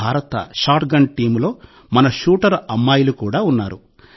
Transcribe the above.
భారత షాట్గన్ టీమ్లో మన షూటర్ అమ్మాయిలు కూడా ఉన్నారు